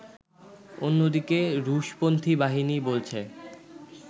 অন্যদিকে রুশপন্থী বাহিনী বলছে